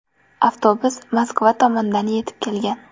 Avtobus Moskva tomondan yetib kelgan.